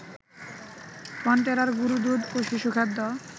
ফন্টেরার গুঁড়োদুধ ও শিশুখাদ্য